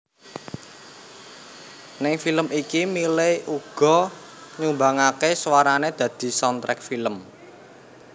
Ning film iki Miley uga nyumbangaké suarané dadi soundtrack film